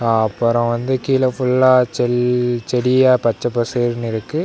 அ அப்பறம் வந்து கீழ ஃபுல்லா செல் செடியா பச்ச பசைர்னு இருக்கு.